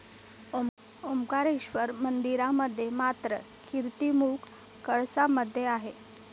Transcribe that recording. ओंकारेश्वर मंदिरामध्ये मात्र, कीर्तिमुख कळसामध्ये आहे.